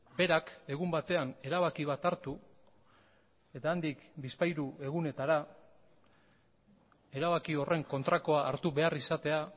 berak egun batean erabaki bat hartu eta handik bizpahiru egunetara erabaki horren kontrakoa hartu behar izatea